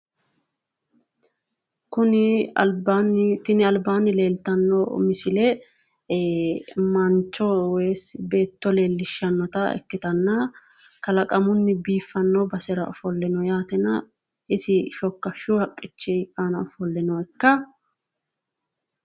Tini albaanni leeltanno misile mancho woyi beetto leellishshannota ikkitanna kalaqamunni biiffanno basera ofolle no yaatena isi shokkashshu haqqichi aana ofolle nookka?